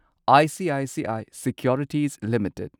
ICICI securities limited